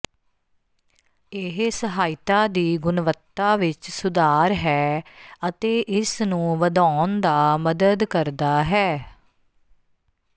ਇਹ ਸਹਾਇਤਾ ਦੀ ਗੁਣਵੱਤਾ ਵਿੱਚ ਸੁਧਾਰ ਹੈ ਅਤੇ ਇਸ ਨੂੰ ਵਧਾਉਣ ਦਾ ਮਦਦ ਕਰਦਾ ਹੈ